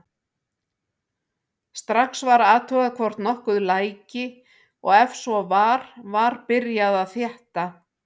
Strax var athugað hvort nokkuð læki og ef svo var var byrjað að þétta.